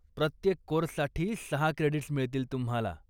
प्रत्येक कोर्ससाठी सहा क्रेडीट्स मिळतील तुम्हाला.